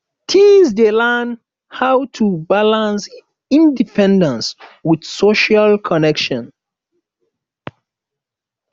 teens dey learn how to balance independence with social connection